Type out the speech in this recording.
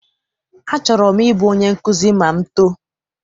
Achọrọ m I bụ onye nkụzi ma m too.